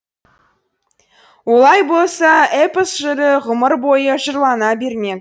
олай болса эпос жыры ғұмыр бойы жырлана бермек